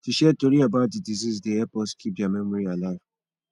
to share tori about the deceased dey help us keep their memory alive